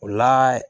O la